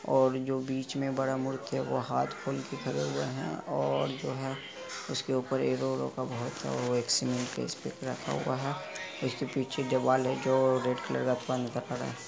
और जो बीच में बड़ा मूर्ति हैं वो हाथ खोल के खड़े हुए हैं और जो हैं उस के ऊपर सींगिल स्पिसिफिक रखा हुआ हैं उस के पीछे जो वॉल हैं जो रेड कलर --